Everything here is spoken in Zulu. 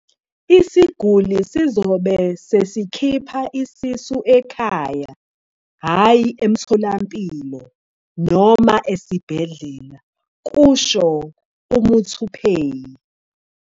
"Isiguli sizobe sesikhipha isisu ekhaya hhayi emtholampilo noma esibhedlela," kusho uMuthuphei."